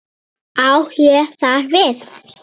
Á ég þar við